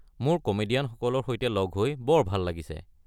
মোৰ কমেডিয়ানসকলৰ সৈতে লগ হৈ বৰ ভাল লাগিছে।